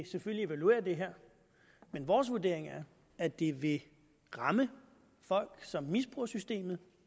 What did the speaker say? evaluere det her men vores vurdering er at det vil ramme folk som misbruger systemet